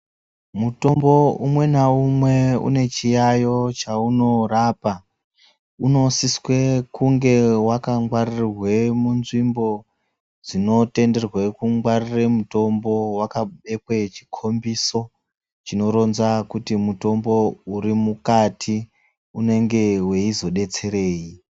Mutombo umwe naumwe une chiyaiyo chaunorapa. Unosiswe kunge wakangwarirwe munzvimbo, dzinotenderwe kungwarire mutombo, wakabekwe chikhombiso, chinoronza kuti mutombo uri mukati, unonga weizodetserei.